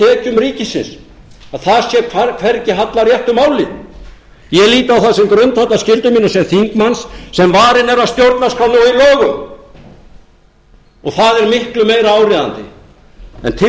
tekjum ríkisins að þar sé hvergi hallað réttu máli ég lít á það sem grundvallarskyldu mína sem þingmanns sem varinn er af stjórnarskrá